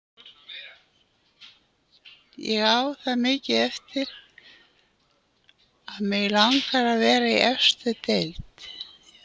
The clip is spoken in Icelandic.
Ég á það mikið eftir að mig langar að vera í efstu deild.